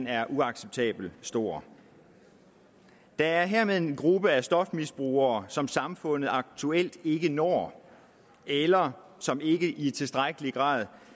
er uacceptabelt stor der er hermed en gruppe af stofmisbrugere som samfundet aktuelt ikke når eller som ikke i tilstrækkelig grad